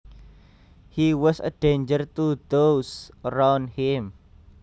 He was a danger to those around him